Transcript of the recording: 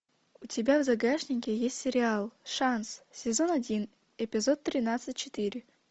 у тебя в загашнике есть сериал шанс сезон один эпизод тринадцать четыре